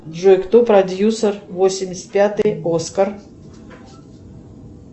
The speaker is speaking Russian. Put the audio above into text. джой кто продюсер восемьдесят пятый оскар